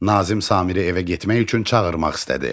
Nazim Samiri evə getmək üçün çağırmaq istədi.